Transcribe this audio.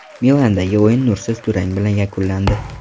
Milandagi o‘yin nursiz durang bilan yakunlandi.